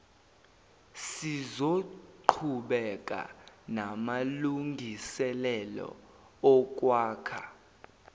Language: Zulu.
sizoqhubeka namalungiselelo okwakha